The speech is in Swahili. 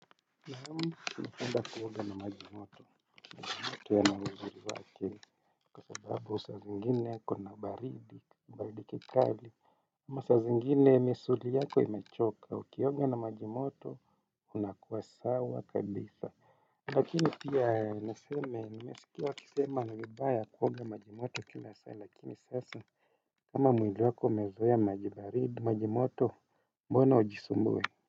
Naam napenda kuoga na maji moto. Maji moto yana uzuri wake, kwa sababu saa zingine kuna baridi baridi kikali. Ama saa zingine misuli yako imechoka na ukioga na maji moto. Unakuwa sawa kabisa. Lakini pia niseme nimesikia wakisema ni vibaya kuoga maji moto kila saa lakini sasa. Kama mwili wako umezoea maji baridi, maji moto mbona ujisumbue.